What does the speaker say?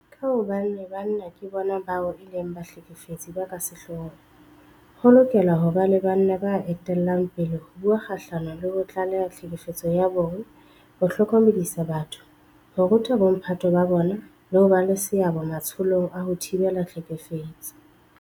Ka hobane banna ke bona bao e leng bahlekefetsi ba ka sehloohong, ho lokela ho ba banna ba etellang pele ho bua kgahlano le ho tlaleha tlhekefetso ya bong, ho hlokomedisa batho, ho ruta bomphato ba bona le ho ba le seabo matsholong a ho thibela tlhekefetso.